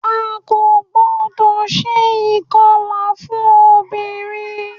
A kò gbọ́dọ̀ se ìkọlà fún obìnrin